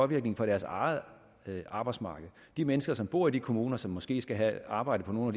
virkning på deres eget arbejdsmarked de mennesker som bor i de kommuner og som måske skal have arbejde på nogle